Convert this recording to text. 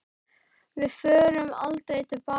Við förum aldrei til baka.